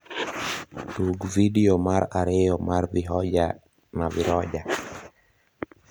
tug vidio mar ariyo mar vihoja na viroja